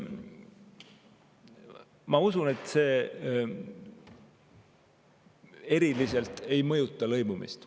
Ma usun, et see eriliselt ei mõjuta lõimumist.